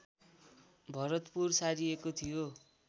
भरतपुर सारिएको थियो